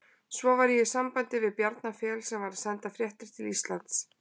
Svo var ég í sambandi við Bjarna Fel sem var að senda fréttir til Íslands.